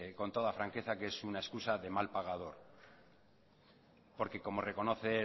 con toda franqueza que es una excusa de mal pagador porque como reconoce